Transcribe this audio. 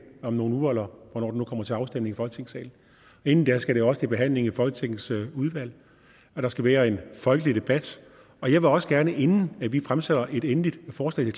om nogle uger eller hvornår det nu kommer til afstemning i folketingssalen inden da skal det også i behandling i folketingets udvalg og der skal være en folkelig debat og jeg vil også gerne inden vi fremsætter et endeligt forslag